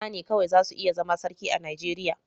Maza ne kawai za su iya zama Sarki a Nigeriya.